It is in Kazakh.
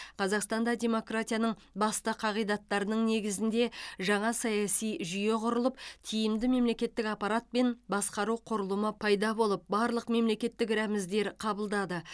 қазақстанда демократияның басты қағидаттарының негізінде жаңа саяси жүйе құрылып тиімді мемлекеттік аппарат пен басқару құрылымы пайда болып барлық мемлекеттік рәміздер қабылдады